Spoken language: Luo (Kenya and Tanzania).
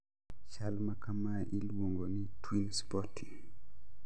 Chal makamae iluongo ni twin spotting